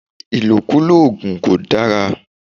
Ìlòkulò òògùn kò dára.